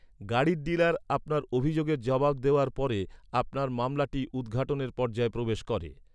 গাড়ির ডিলার আপনার অভিযোগের জবাব দেওয়ার পরে, আপনার মামলাটি উদ্ঘাটনের পর্যায়ে প্রবেশ করে।